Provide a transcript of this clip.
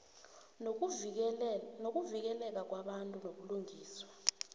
nokuvikeleka kwabantu nobulungiswa